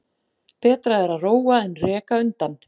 Betra er að róa en reka undan.